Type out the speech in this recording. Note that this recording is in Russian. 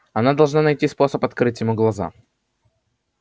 она должна найти способ открыть ему глаза